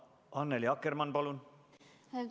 Annely Akkermann, palun!